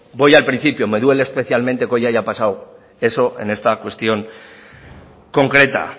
voy al principio me duele especialmente que hoy haya pasado eso en esta cuestión concreta